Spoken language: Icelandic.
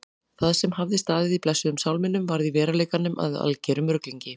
Það sem hafði staðið í blessuðum sálminum varð í veruleikanum að algerum ruglingi.